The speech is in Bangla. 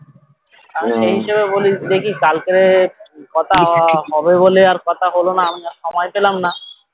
আর সেই হিসেবে বলি দেখি কালকেরে কথা হবে বলে আর কথা হলো না মানে সময় পেলাম না